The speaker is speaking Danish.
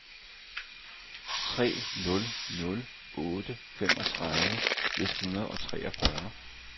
tre nul nul otte femogtredive et hundrede og treogfyrre